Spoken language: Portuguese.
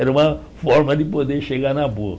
Era uma forma de poder chegar na boa.